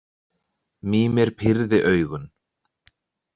Mímir pírði augun.